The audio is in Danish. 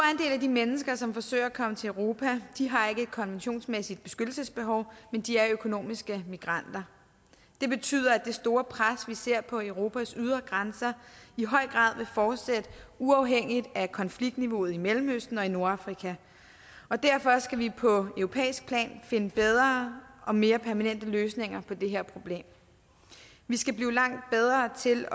af de mennesker som forsøger at komme til europa har ikke et konventionsmæssigt beskyttelsesbehov men de er økonomiske migranter det betyder at det store pres vi ser på europas ydre grænser i høj grad vil fortsætte uafhængigt af konfliktniveauet i mellemøsten og i nordafrika og derfor skal vi på europæisk plan finde bedre og mere permanente løsninger på det her problem vi skal blive langt bedre til